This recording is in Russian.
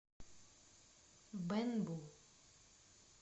бэнбу